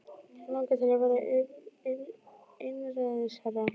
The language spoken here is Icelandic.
Hann langar til að verða einræðisherra.